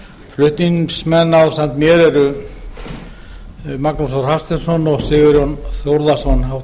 flutningsmenn ásamt mér eru háttvirtir þingmenn magnús þór hafsteinsson og sigurjón þórðarson